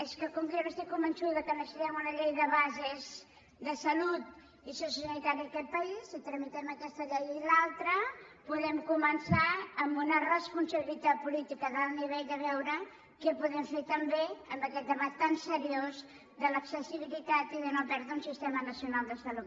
és que com que jo n’estic convençuda que necessitem una llei de bases de salut i sociosanitària en aquest país si tramitem aquesta llei i l’altra podem començar amb una responsabilitat política d’alt nivell a veure què podem fer també amb aquest debat tan seriós de l’accessibilitat i de no perdre un sistema nacional de salut